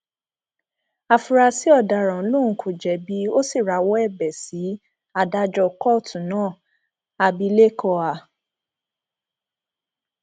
áfúrásì ọdaràn lòun kò jẹbi ó sì rawọ ẹbẹ sí adájọ kóòtù náà abilékọ a